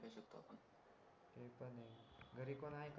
घरी कोण हाय